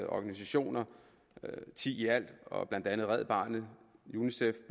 organisationer ti i alt blandt andet red barnet unicef